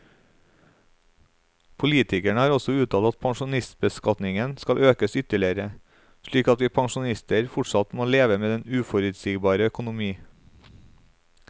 Politikere har også uttalt at pensjonistbeskatningen skal økes ytterligere, slik at vi pensjonister fortsatt må leve med den uforutsigbare økonomi.